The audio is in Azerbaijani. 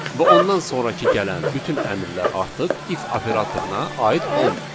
Və ondan sonrakı gələn bütün əmrlər artıq if operatoruna aid olmur.